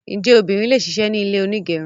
Njẹ obìnrin le ṣisẹ̀mẹ́ ní ilé onígẹrun?